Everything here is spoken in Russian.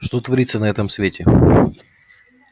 что творится на этом свете